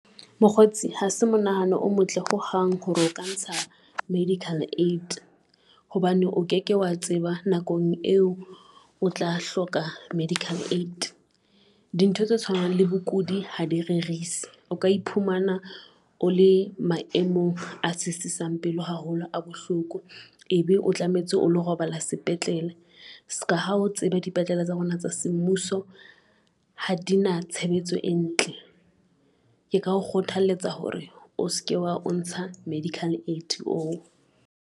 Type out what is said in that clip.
Mokgotsi ha se mo nahano o motle ho hang hore o ka ntsha medical aid hobane o ke ke wa tseba nakong eo o tla hloka medical aid. Dintho tse tshwanang le bokudi ha di rerisi o ka iphumana o le maemong a sisisang pelo haholo a bohloko. Ebe o tlametse o lo robala sepetlele ska ha o tseba dipetlele tsa rona tsa semmuso ha di na tshebetso e ntle, ke ka ho kgothaletsa hore o se ke wa o ntsa medical aid oo.